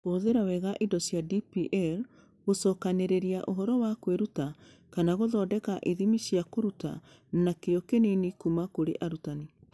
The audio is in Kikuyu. Kũhũthĩra wega indo cia DPL gũcokanĩrĩria ũhoro wa kwĩruta kana gũthondeka ithimi cia kũruta na kĩyo kĩnini kuuma kũrĩ arutani